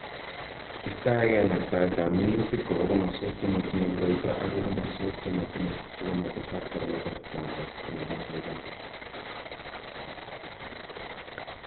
Istoegei naktaetap minutik koba komoswek che ma tinyei koroito agoi komoswek che ma tinyei, si koma tesak koroito notok eng' komoswek chotok.